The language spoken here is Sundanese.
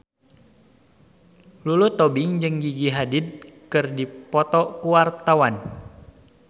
Lulu Tobing jeung Gigi Hadid keur dipoto ku wartawan